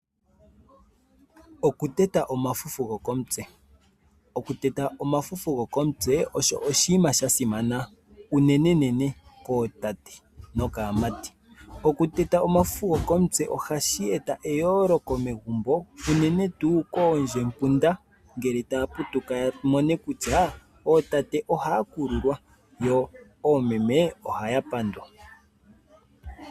Okuteta omafufu gokomutse oshinima shasimana. Ohashi eta eyooloko megumbo unene tuu koondjepunda oshoka otaya mono kutya ootate ohaya kululwa omanga oomeme ohaya pandwa.